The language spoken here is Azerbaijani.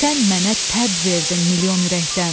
Sən mənə təb verdin milyon ürəkdən.